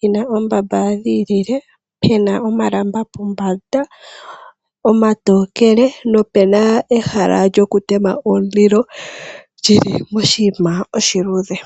yina oombamba dhiilile pena omalamba pombanda omatokele nopena ehala lyokutema omulilo lyilimoshiima oshiluudhe.